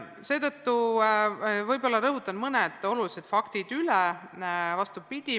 Seetõttu rõhutan mõned olulised faktid üle.